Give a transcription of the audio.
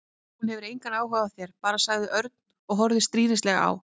Hún hefur engan áhuga á þér, bara mér sagði Örn og horfði stríðnislega á